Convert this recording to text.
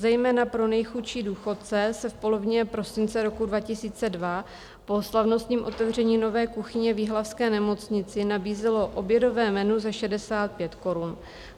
Zejména pro nejchudší důchodce se v polovině prosince roku 2002 po slavnostním otevření nové kuchyně v jihlavské nemocnici nabízelo obědové menu za 65 korun.